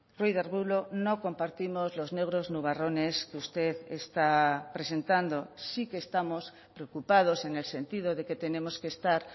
ruiz de arbulo no compartimos los negros nubarrones que usted está presentando sí que estamos preocupados en el sentido de que tenemos que estar